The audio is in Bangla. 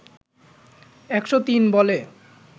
১০৩ বলে